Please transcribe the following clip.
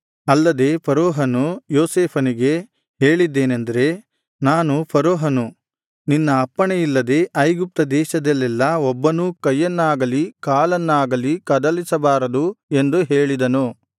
ಅಲ್ಲದೆ ಫರೋಹನು ಯೋಸೇಫನಿಗೆ ಹೇಳಿದ್ದೇನೆಂದರೆ ನಾನು ಫರೋಹನು ನಿನ್ನ ಅಪ್ಪಣೆಯಿಲ್ಲದೆ ಐಗುಪ್ತ ದೇಶದಲ್ಲೆಲ್ಲಾ ಒಬ್ಬನೂ ಕೈಯನ್ನಾಗಲಿ ಕಾಲನ್ನಾಗಲಿ ಕದಲಿಸಬಾರದು ಎಂದು ಹೇಳಿದನು